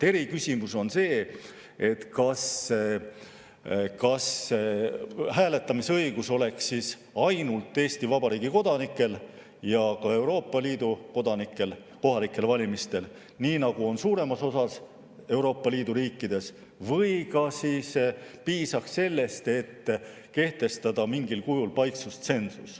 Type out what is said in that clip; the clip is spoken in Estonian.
Eri küsimus on see, kas hääletamisõigus oleks siis ainult kodanikel ja ka Euroopa Liidu kodanikel kohalikel valimistel, nii nagu on suuremas osas Euroopa Liidu riikides, või piisaks sellest, et kehtestada mingil kujul paiksustsensus.